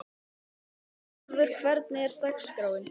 Sólvör, hvernig er dagskráin?